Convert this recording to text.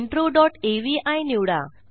intro dot avi निवडा